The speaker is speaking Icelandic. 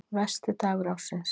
Versti dagur ársins